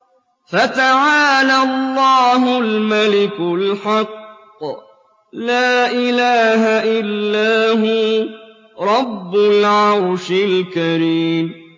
فَتَعَالَى اللَّهُ الْمَلِكُ الْحَقُّ ۖ لَا إِلَٰهَ إِلَّا هُوَ رَبُّ الْعَرْشِ الْكَرِيمِ